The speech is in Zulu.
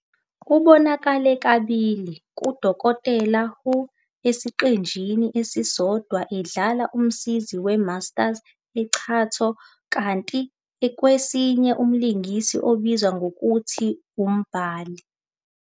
Ubonakale kabili "kuDokotela Who",esiqeshini esisodwa edlala umsizi we-Master Chantho, kanti kwesinye, umlingisi obizwa ngokuthi uMbhuli.